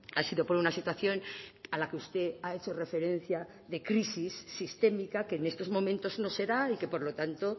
ha sido por una situación a la que usted ha hecho referencia de crisis sistémica que en estos momentos no será y que por lo tanto